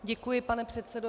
Děkuji, pane předsedo.